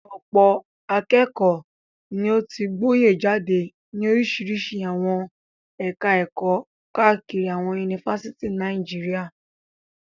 Ọ̀pọ̀ akẹ́kọ̀ọ́ ni ó ti gboyè jáde ní oríṣiríṣi àwọn ẹ̀ka-ẹ̀kọ́ káàkiri àwọn yunifásitì ní Nàìjíríà.